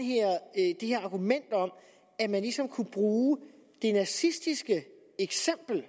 er argument om at man ligesom kan bruge det nazistiske eksempel